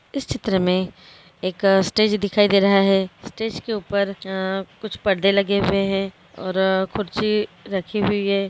इस चित्र मे एक स्टेज दिखाई दे रहा है स्टेज के ऊपर कुछ परदे लगे हुए है और खुरी रखी हुई है।